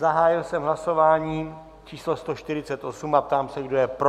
Zahájil jsem hlasování číslo 148 a ptám se, kdo je pro.